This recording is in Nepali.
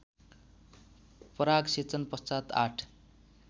परागसेचन पश्चात् ८